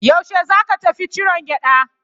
Yaushe za ka tafi ciron gyaɗa?